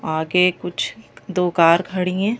आगे कुछ दो कार खड़ी हैं।